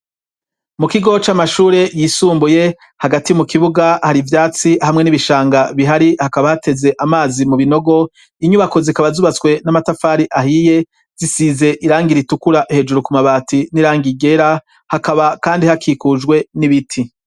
Mu kigo c'amashure yisumbuye hagati mu kibuga hari ivyatsi hamwe n'ibishanga bihari hakaba hateze amazi mu binogo, inyubako zikaba zubatswe n'amatafari ahiye zisize irangira itukura hejuru ku mabati n'irangi ryera, hakaba kandi hakikujwe n'ibiti.